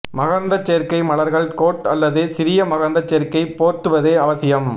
மகரந்தச் சேர்க்கை மலர்கள் கோட் அல்லது சிறிய மகரந்தச் சேர்க்கை போர்த்துவது அவசியம்